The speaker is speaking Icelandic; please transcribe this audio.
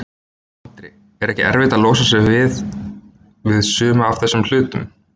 Andri: Er ekkert erfitt að losa sig við, við suma af þessum hlutum?